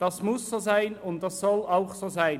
Das muss so sein und soll auch so sein.